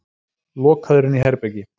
Lokaður inní herbergi.